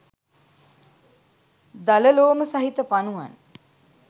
දල ලෝම සහිත පනුවන්